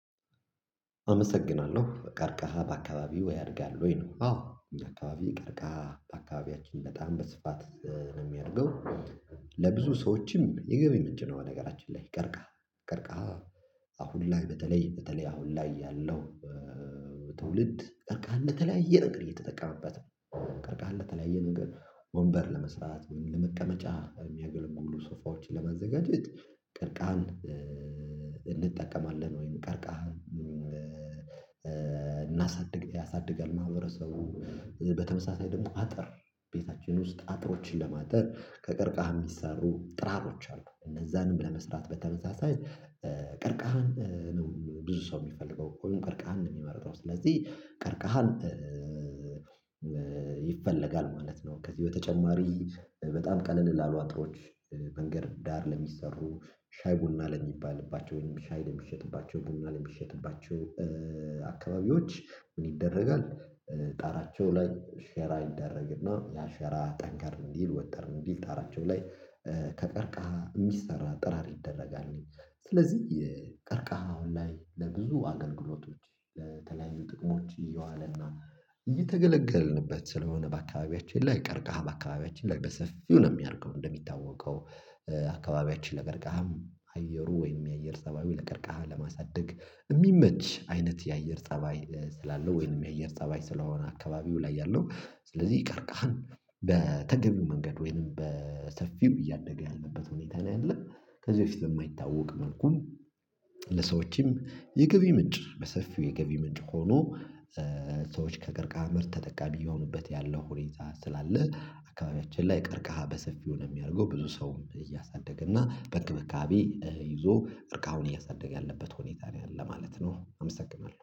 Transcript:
አመሰግናለሁ ቀርቀሃ በአካባቢው ወይ ያድጋል ወይ ነው? አዎ አካባቢ ቀርቀሃ በአካባቢያችን በጣም በስፋት ነው የሚያድገው። ለብዙ ሰዎችም የገቢ ምንጭ ነው በነገራችን ላይ ቀርቃ ቀርቃ አሁን ላይ በተለይ በተለይ አሁን ላይ ያለው ትውልድ ቀርቃን ለተያየ ነገር ይጠቀምበታል ነው። ቀርቃህ እንደተለያየ ነገር ወንበር ለመስራት ለመቀመጫ የሚያገለግሉ ሶፋዎችን ለመዘጋጀት ቀርቃህን እንጠቀማለን ወይም ቀርቃህን። እናሳድግ ያሳድጋል ማህበረሰቡ። በተመሳሳይ ደግሞ አጥር ቤታችን ውስጥ አጥሮችን ለማጠር ከቀርቃሃ የሚሰሩ ጥራሮች አሉ። እነዛንም ለመስራት በተመሳሳይ ቀርቃሃን ብዙ ሰው የሚፈልገው ወይም ቀርቃሃን የሚመርጠው ስለዚህ ቀርቃሃን ይፈለጋል ማለት ነው። ከዚህ በተጨማሪ በጣም ቀለል ላሉ አጥሮች መንገድ ዳር ለሚሰሩ ሻይ ቡና ለሚባልባቸው ወይም ሻይ ለሚሸጥባቸው ቡና ለሚሸጥባቸው አካባቢዎች ምን ይደረጋል? ጣራቸው ላይ ሼራ ይደረግና ያ ሼራ ጠንካር እንዲል ወጠር እንዲል ጣራንቾ ላይ ከቀርቃህ የሚሰራ ጠራር ይደረጋል። ስለዚህ የቀርቃሃው ላይ ለብዙ አገልግሎቶች ለተለያዩ ጥቅሞች እየዋለና እየተገለገልንበት ስለሆነ በአካባቢያችን ላይ ቀርቀሃ በአካባቢያችን ላይ በሰፊው ነው የሚያደርገው። እንደሚታወቀው አካባቢያችን ለቀርቃሃም አየሩ ወይም የአየር ፀባዩ ለቀርቃሃ ለማሳደግ የሚመች አይነት የአየር ፀባይ ስላለው ወይንም የአየር ፀባይ ስለሆነ አካባቢው ላይ ያለው ስለዚህ ቀርካሃን በተገቢው መንገድ ወይንም በሰፊው እያደገ ያለበት ሁኔታ ነው ያለው። ከዚህ በፊት የማይታወቅ መልኩን ለሰዎችም የገቢ ምንጭ በሰፊው የገቢ ምንጭ ሆኖ ሰዎች ከቀርካሀ ምርት ተጠቃሚ የሆኑበት ያለው ሁኔታ ይዛ ስላለ። አካባቢያችን ላይ ቀርቃሃ በሰፊው ነው የሚያደርገው ብዙ ሰውም እያሳደገ እና በእንክብካቤ ይዞ ቀርካሃዉን እያሳደገ ያለበት ሁኔታ ላይ አለ ማለት ነው። አመሰግናለሁ